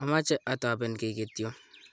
ameche atoben kiy ktyo